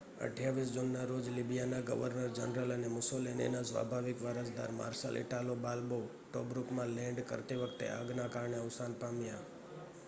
28 જૂનના રોજ લિબિયાના ગવર્નર જનરલ અને મુસોલિનીના સ્વાભાવિક વારસદાર માર્શલ ઇટાલો બાલ્બો ટોબ્રુકમાં લૅન્ડ કરતી વખતે આગના કારણે અવસાન પામ્યા